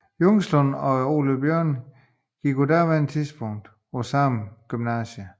Jungslund og Ole Björn gik på daværende tidspunkt sammen på Viborg Gymnasium